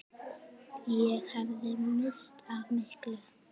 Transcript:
Ég hefði misst af miklu.